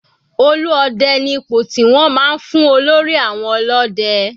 Olú Ọdẹ ni ipò tí wọ́n máa ń fún olórí àwọn ọlọ́dẹ.